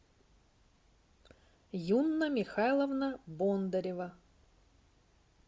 юнна михайловна бондарева